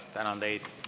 Tänan teid.